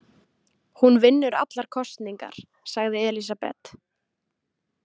Hún vinnur allar kosningar, sagði Elísabet.